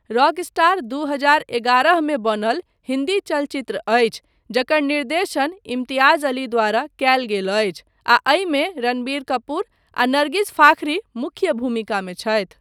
Rockstar दू हजार एगारह मे बनल हिन्दी चलचित्र अछि जकर निर्देशन इम्तियाज अली द्वारा कयल गेल अछि आ एहिमे रणबीर कपूर आ नर्गिस फाखरी मुख्य भूमिकामे छथि।